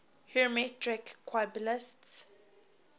hermetic qabalists